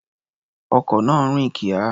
Ọkọ̀ náà rìn kíá.